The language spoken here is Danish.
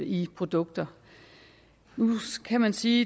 i produkter nu kan man sige